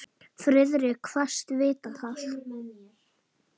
Friðrik kvaðst vita það.